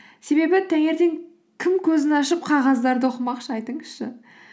себебі таңертең кім көзін ашып қағаздарды оқымақшы айтыңызшы